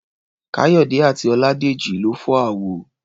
Káyọ̀dé àti Ọládèjì lọ fọ́ àwo.